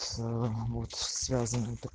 аа вот связана с